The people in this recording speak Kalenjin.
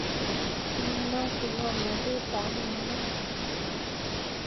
Anan osich ngomnatetab ngalek